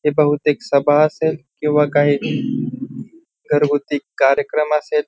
ही बहुतेक सभा असेल किंवा काही घरगुती कार्यक्रम असेल.